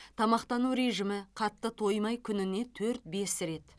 тамақтану режимі қатты тоймай күніне төрт бес рет